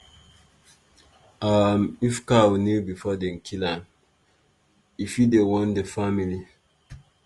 um if cow kneel before dem kill am e fit dey warn di family.